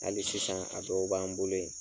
Hali sisan a dɔw b'an bolo yen.